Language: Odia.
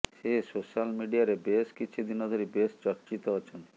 ସେ ସୋଶାଲ ମିଡିଆରେ ବେଶ୍ କିଛି ଦିନ ଧରି ବେଶ୍ ଚର୍ଚ୍ଚିତ ଅଛନ୍ତି